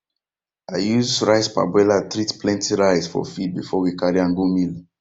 i use rice parboiler treat plenty rice for field before we carry am go mill